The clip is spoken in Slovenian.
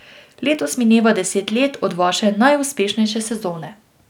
Letos mineva deset let od vaše najuspešnejše sezone.